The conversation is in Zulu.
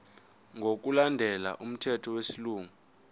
ngokulandela umthetho wesilungu